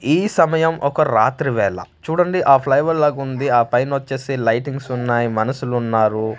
ఈ సమయం ఒక రాత్రి వేళ చూడండి ఆ లాగుంది ఆ పైనోచ్చేసి లైటింగ్స్ ఉన్నాయ్ మనషులున్నారు .